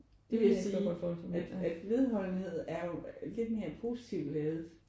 Det vil jeg sige at at vedholdenhed er jo lidt mere positiv ladet